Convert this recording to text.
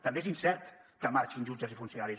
també és incert que marxin jutges i funcionaris